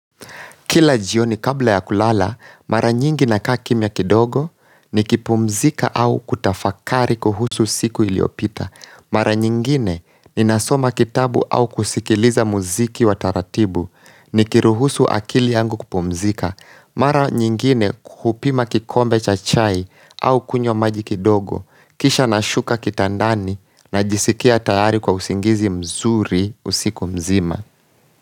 Kila jioni kabla ya kulala, mara nyingi na kaa kimya kidogo ni kipumzika au kutafakari kuhusu siku iliyopita. Mara nyingine ni nasoma kitabu au kusikiliza muziki wa taratibu ni kiruhusu akili yangu kupumzika. Mara nyingine hupima kikombe cha chai au kunywa maji kidogo, kisha na shuka kitandani na jisikia tayari kwa usingizi mzuri usiku mzima.